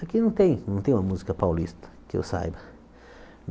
Aqui não tem não tem uma música paulista, que eu saiba.